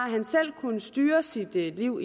han selv styre sit liv